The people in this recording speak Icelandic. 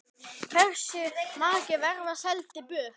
Hversu margir verða seldir burt?